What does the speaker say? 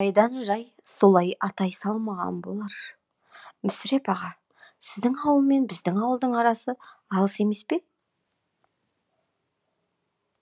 жайдан жай солай атай салмаған болар мүсіреп аға сіздің ауыл мен біздің ауылдың арасы алыс емес пе